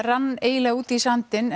rann eiginlega út í sandinn